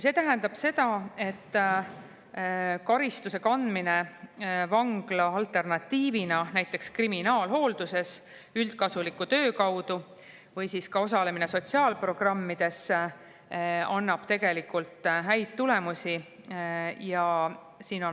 See tähendab seda, et karistuse kandmine vangla alternatiivina näiteks kriminaalhoolduses üldkasuliku töö kaudu või ka osalemine sotsiaalprogrammides annab tegelikult häid tulemusi.